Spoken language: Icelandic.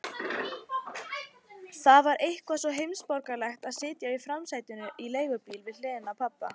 Það var eitthvað svo heimsborgaralegt að sitja í framsætinu í leigubíl við hliðina á pabba.